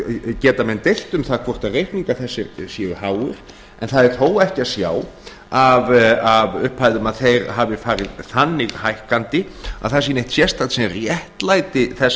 geta menn deilt um það hvort reikningar þessir séu háir en það er þó ekki að sjá af upphæðum að þeir hafi farið þannig hækkandi að það sé neitt sérstakt sem réttlæti þessa